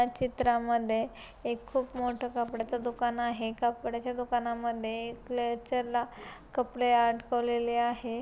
या चित्रामध्ये एक खूप मोठ कपड्याच दुकान आहे कपड्याच्या दुकानामध्ये एक क्लेचरला कपडे अडकवलेले आहे.